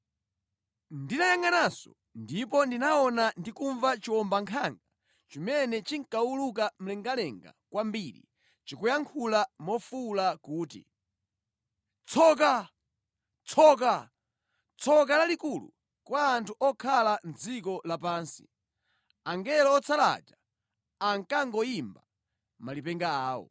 Ndinayangʼananso ndipo ndinaona ndi kumva chiwombankhanga chimene chinkawuluka mlengalenga kwambiri chikuyankhula mofuwula kuti, “Tsoka, Tsoka! Tsoka lalikulu kwa anthu okhala mʼdziko lapansi, angelo otsala aja akangoyimba malipenga awo!”